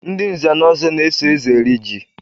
Ndị nze na ọzọ na-eso eze eri jị.